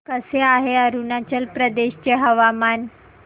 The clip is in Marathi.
कसे आहे अरुणाचल प्रदेश चे हवामान